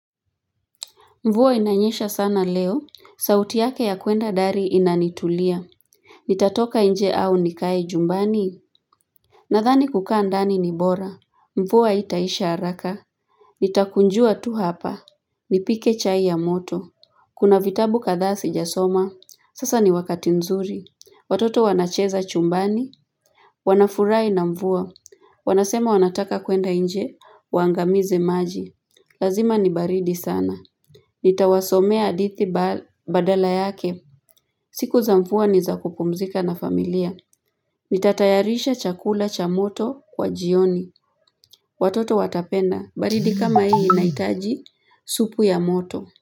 Mvua inanyesha sana leo, sauti yake ya kuenda dari inanitulia. Nitatoka nje au nikae jumbani, nadhani kukaa ndani ni bora. Mvua haitaisha haraka, nitakunjua tu hapa, nipike chai ya moto. Kuna vitabu kadhaa sijasoma, sasa ni wakati nzuri. Watoto wanacheza chumbani, wanafurahi na mvua. Wanasema wanataka kuenda nje, waangamize maji. Lazima ni baridi sana. Nitawasomea hadithi badala yake. Siku za mvua ni za kupumzika na familia. Nitatayarisha chakula cha moto kwa jioni. Watoto watapenda. Baridi kama hii inahitaji supu ya moto.